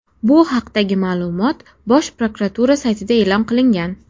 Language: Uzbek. Bu haqdagi ma’lumot Bosh prokuratura saytida e’lon qilingan .